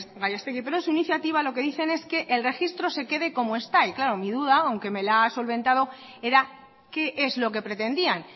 gallastegui pero en su iniciativa lo que dicen es que en el registro se quede como está y claro mi duda aunque me la ha solventado era qué es lo que pretendían